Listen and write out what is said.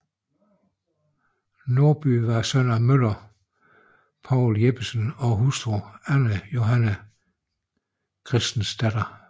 Nordby var søn af møller Poul Jeppesen og hustru Ane Johanne Christensdatter